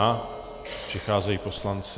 A přicházejí poslanci.